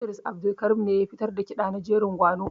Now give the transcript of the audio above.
Idris Abdulkarim ne ya fitar da ƙiɗa na jerin gwano.